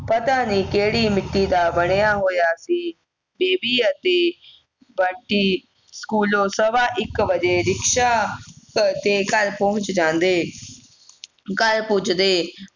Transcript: ਪਤਾ ਨਹੀਂ ਕਿਹੜੀ ਮਿੱਟੀ ਦਾ ਬਣਿਆ ਹੋਇਆ ਸੀ ਬੇਬੀ ਅਤੇ ਬੰਟੀ ਸਕੂਲੋਂ ਸਵਾ ਇੱਕ ਵਜੇ ਰਿਕਸ਼ਾ ਕਰਕੇ ਘਰ ਪਹੁੰਚ ਜਾਂਦੇ ਘਰ ਪੁੱਜ